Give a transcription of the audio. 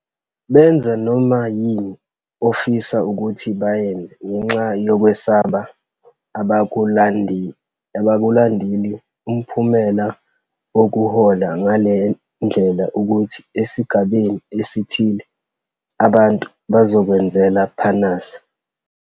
Benza noma yini ofisa ukuthi bayenze ngenxa yokwesaba, abakulandeli. Umphumela wokuhola ngale ndlela ukuthi esigabeni esithile abantu bazokwenzela phanasi.